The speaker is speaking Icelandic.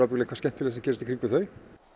eitthvað skemmtilegt sem gerist í kringum þau